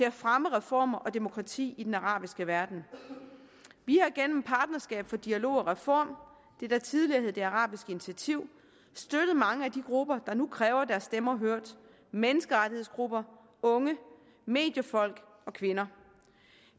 at fremme reformer og demokrati i den arabiske verden vi har gennem partnerskab for dialog og reform det der tidligere hed det arabiske initiativ støttet mange af de grupper der nu kræver deres stemmer hørt menneskerettighedsgrupper unge mediefolk og kvinder